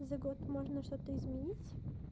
за год можно что-то изменить